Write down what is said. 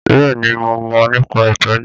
Bẹ́ẹ̀ ni, mo mọ̀ nípa ìtọ́jú